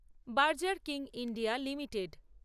Berger King India limited